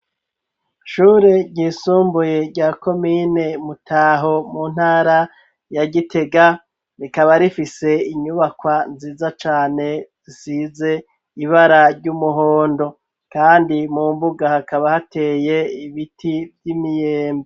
Shure ryisumbuye rya komine mutaho mu ntara yagitega rikaba rifise inyubakwa nziza cane size ibara ry'umuhondo, kandi mu mbuga hakaba hateye ibiti vy'imiyembo.